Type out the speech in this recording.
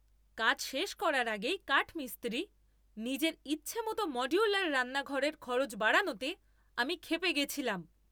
কাজ শেষ করার আগেই কাঠমিস্ত্রি নিজের ইচ্ছামতো মড্যুলার রান্নাঘরের খরচ বাড়ানোতে আমি ক্ষেপে গেছিলাম।